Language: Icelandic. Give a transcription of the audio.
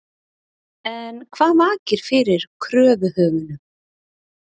En hvað vakir fyrir kröfuhöfunum?